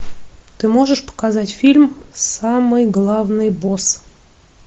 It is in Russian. ты можешь показать фильм самый главный босс